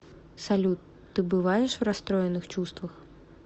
салют ты бываешь в расстроенных чувствах